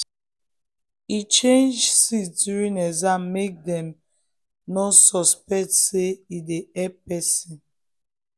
e change seat during exam make dem dem no suspect say e dey help person.